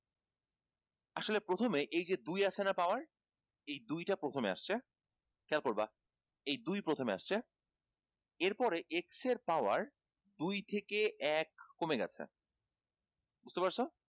আসলে প্রথমে এই যে দুই আছে না power এই দুই তা প্রথমে আসছে খেয়াল করবা এই প্রথমে আসছে এর পরে x এর power দুই থেকে এক কমে গেছে